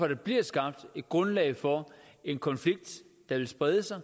der bliver skabt et grundlag for en konflikt der vil sprede sig